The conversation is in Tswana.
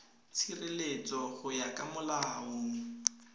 tshireletso go ya ka molao